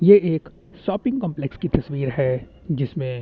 यह एक shopping complex की तस्वीर है जिस में--